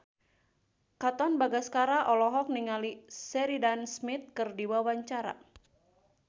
Katon Bagaskara olohok ningali Sheridan Smith keur diwawancara